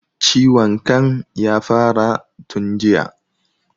Ciwon kan ya fara tun jiya